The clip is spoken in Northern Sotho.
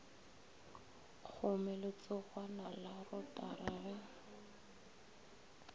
kgome letsogwana la rotara ge